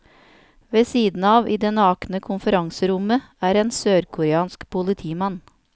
Ved siden av, i det nakne konferanserommet, er en sørkoreansk politimann.